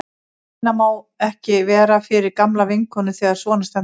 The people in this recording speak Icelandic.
Minna má það ekki vera fyrir gamla vinkonu þegar svona stendur á.